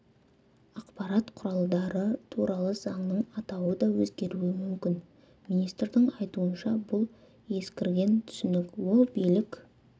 ақпарат құралдары туралы заңның атауы да өзгеруі мүмкін министрдің айтуынша бұл ескірген түсінік ол билік